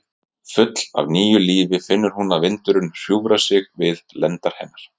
Full af nýju lífi finnur hún að vindurinn hjúfrar sig við lendar hennar.